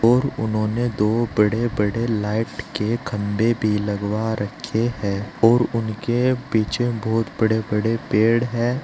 और उन्होंने दो बड़े बड़े लाइट के खंभे भी लगवा रखे हैं और उनके पीछे बहुत बड़े बड़े पेड़ है।